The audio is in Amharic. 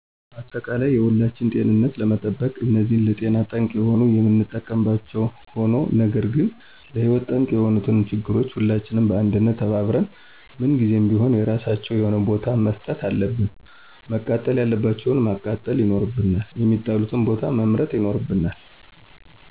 አጠቃላይ የሁላችንን ጤንነት ለመጠበቅ እነዚህን ለጤና ጠንቅ የሆኑ የምንጠቀምባቸዉ ሆኖ ነገር ግን ለህይወት ጠንቅ የሆኑትን ችግሮች ሁላችንም በአንድነት ተባብረን <ምን ጊዜም ቢሆን የራሳቸዉ የሆነ ቦታ>መስጠት አለብን። መቃጠል ያለባቸዉን ማቃጠል ይኖርብናል፣ የሚጣሉበትን ቦታ መምረጥ ይኖርብናል